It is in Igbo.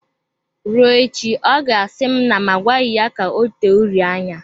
Rụọ echi, ọ ga-asi na m agwaghi ya ka ọ tee uri anya.